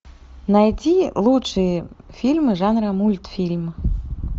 найди лучшие фильмы жанра мультфильм